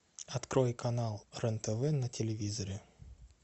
открой канал рен тв на телевизоре